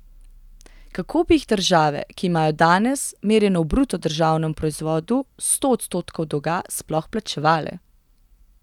Kako bi jih države, ki imajo danes, merjeno v bruto državnem proizvodu, sto odstotkov dolga, sploh plačevale?